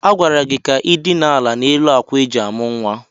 Agwara gị ka i dina ala n'elu ákwà eji amụ̀ nwa!